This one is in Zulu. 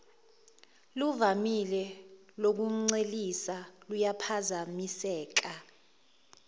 luvamile lokuncelisa luyaphazamiseka